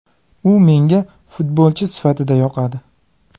U menga futbolchi sifatida yoqadi.